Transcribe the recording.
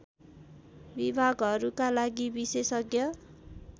विभागहरूका लागि विशेषज्ञ